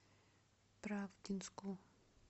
правдинску